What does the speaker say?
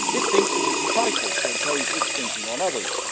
It thinks it is entitled to impose its thinking on others.